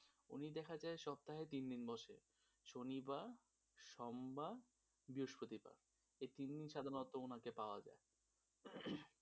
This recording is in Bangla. উনি দেখা যায় সপ্তাহে তিন দিন বসে শনি বার সোমবার বৃহস্পতিবার এই তিনদিন সাধারণত উনাকে পাওয়া যায়,